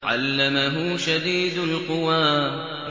عَلَّمَهُ شَدِيدُ الْقُوَىٰ